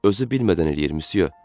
Özü bilmədən eləyir müsyo.